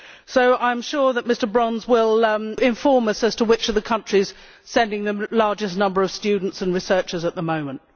So I am sure that Mr Brons will inform us as to which of the countries are sending the largest number of students and researchers at the moment.